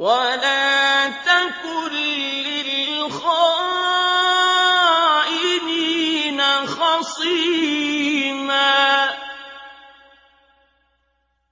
وَلَا تَكُن لِّلْخَائِنِينَ خَصِيمًا